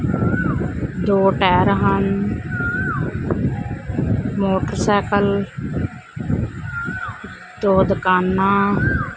ਦੋ ਟਾਇਰ ਹਨ ਮੋਟਰਸਾਈਕਲ ਦੋ ਦੁਕਾਨਾਂ--